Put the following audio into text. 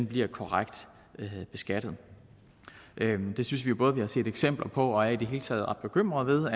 bliver korrekt beskattet der synes vi jo både vi har set eksempler på og i det hele taget ret bekymret ved